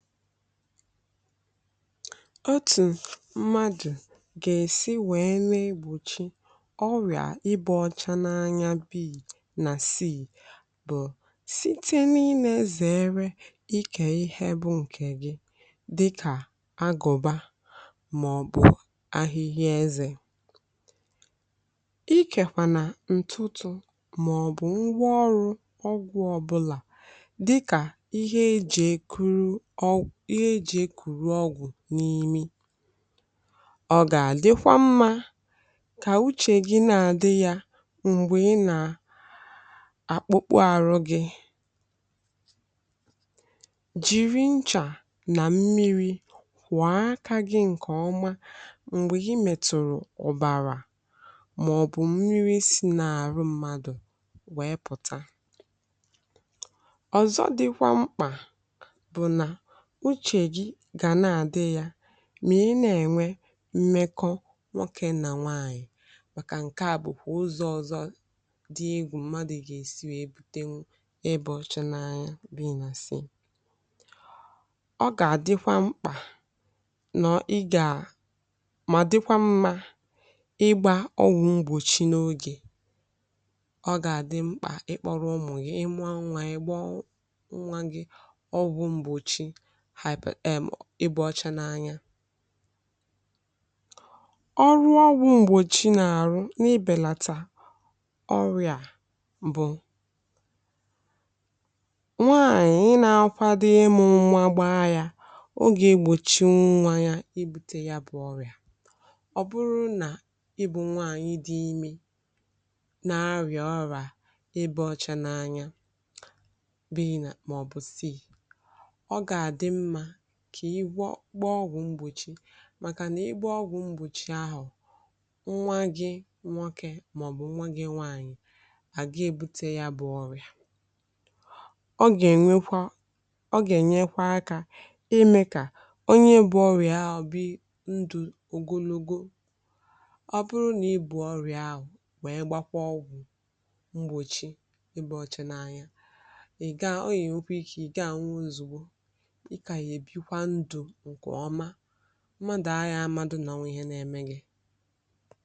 Otu mmadụ ga-esi wee lee ịgbochi ọrịa ibute ọcha n’anya bi na si bụ: Site n’ile anya n’ihe nile zere ịke ihe bụ nke gị dị ka agụba, maọbụ ahịhịa ezé, ikekwa n’ụtụtụ maọbụ ngwaọrụ ọgwụ ọbụla, ihe e ji ekuru ọgwụ n’imi. Ọ ga-adịkwa mma ka uche gị na-adi ya mgbe ị na-akpụkpụ ahụ gị jiri ncha na mmiri saa aka gị. Nke a dị mma mgbe gị metụrụ̀ụrụ̀ ụbara, maọbụ̀ mmiri si n’ahụ mmadụ pụta. Ọzọ dịkwa mkpa bụ na uche eji ga na-adi ya mgbe i na-enwe mmekọ nwoke na nwaanyị, maka na nke a bụkwa ụzọ ọzọ dị egwu mmadụ ga-esi wee bute ọrịa a. Na-anya bi na si, ọ ga-adịkwa mkpa ka i mara na dịkwa mma igbà ọwụ mgbọchi n’oge. Ọ ga-adị mkpa ikpọrọ ụmụ gị ịmụ anwà ịkpọ ụnwà gị ọwụ mgbọchi ọcha n’anya. Ọrụ ọgwụ mgbọchi n’ahụ bụ: Inyere n’ibelata ọrịa. Ọ bụrụ na ị bụ nwaanyị na-akwado ịmụ nwa, gbaa ọgwụ mgbọchi n’oge iji gbochie nwa ị na-amụ ibute ọrịa ahụ. Ọ bụrụ na ị bụ nwaanyị dị ime ma nwee ọrịa ọrịa ibe ọcha n’anya (maọbụ C), kà i gbaa ọgwụ mgbọchi, maka na ị gbo ọgwụ mgbọchi ahụ, nwa gị nwoke maọbụ nwa gị nwaanyị agaghị ebute ya bụ ọrịa. Ọ gà-enyekwa, ọ ga-enyekwa aka ime ka onye bu ọrịa ahụ biri ndụ ogologo. Ọ bụrụ na i bu ọrịa ahụ, ma gbaa ọgwụ mgbọchi ebe ọcha n’anya, ị ga-enyekwa ike, ị ga-anwụnzu ụmụdị anya amaghị na onwe ihe na-eme gị.